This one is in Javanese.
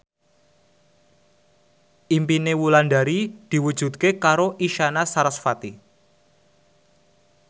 impine Wulandari diwujudke karo Isyana Sarasvati